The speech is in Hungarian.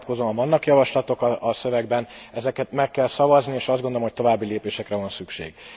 Erre vonatkozóan vannak javaslatok a szövegben, ezeket meg kell szavazni, és azt gondolom, hogy további lépésekre van szükség.